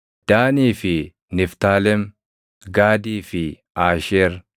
Daanii fi Niftaalem; Gaadii fi Aasheer.